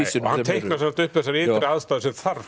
hann teiknar upp þessar ytri aðstæður sem þarf